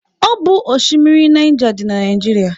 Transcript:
Ọ bụ oshimiri Naija dị na Naijiria.